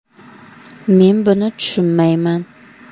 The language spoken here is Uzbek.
Men buni tushunmayman.